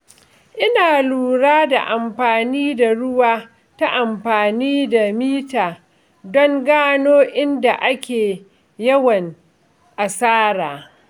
Ina lura da amfani da ruwa ta amfani da mita don gano inda ake yawan asara.